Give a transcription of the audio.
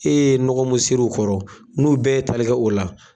E ye nɔgɔ min sɛri u kɔrɔ, n'u bɛɛ ye tali kɛ o la.